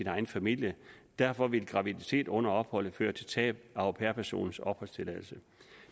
egen familie derfor vil graviditet under opholdet føre til tab af au pair personens opholdstilladelse